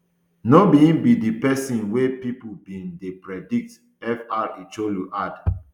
no be im be di pesin wey pipo bin dey predict fr chu ilo add